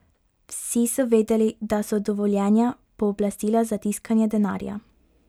Vsi so vedeli, da so dovoljenja pooblastila za tiskanje denarja.